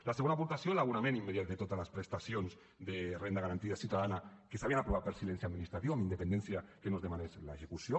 la segona aportació l’abonament immediat de totes les prestacions de renda garantida ciutadana que s’havien aprovat per silencia administratiu amb independència que no se’n demanés l’execució